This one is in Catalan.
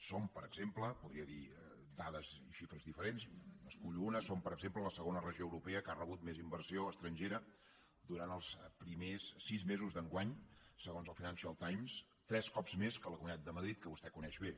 som per exemple podria dir dades i xifres diferents n’escullo una la segona regió europea que ha rebut més inversió estrangera durant els primers sis mesos d’enguany segons el financial times tres cops més que la comunitat de madrid que vostè coneix bé